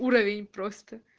уровень просто